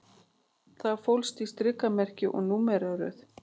Það fólst í strikamerki og númeraröð